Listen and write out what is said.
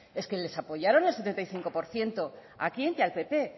es que les apoyaron el setenta y cinco por ciento a quién y al pp